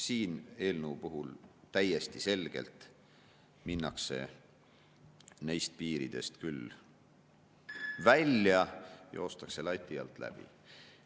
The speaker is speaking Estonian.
Selle eelnõu puhul täiesti selgelt minnakse nendest piiridest välja, joostakse lati alt läbi.